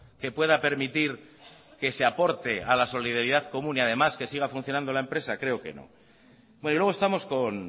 que pueda permitir que se aporte a las solidaridad común y además que siga funcionando la empresa creo que no luego estamos con